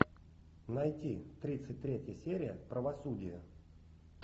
найти тридцать третья серия правосудие